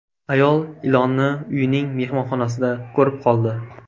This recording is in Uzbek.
Ayol ilonni uyining mehmonxonasida ko‘rib qoldi.